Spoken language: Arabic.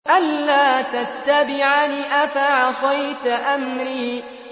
أَلَّا تَتَّبِعَنِ ۖ أَفَعَصَيْتَ أَمْرِي